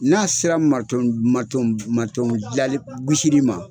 N'a sera dilali gosili ma